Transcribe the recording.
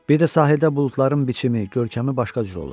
Bir də sahildə buludların biçimi, görkəmi başqa cür olur.